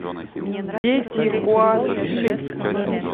дети хуанг ши